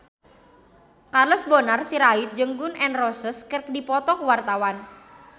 Charles Bonar Sirait jeung Gun N Roses keur dipoto ku wartawan